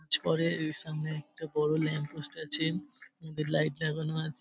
ছড়ে ওই সামনে একটা বড় ল্যাম্পপোস্ট আছেন ওতে লাইট লাগানো আছে ।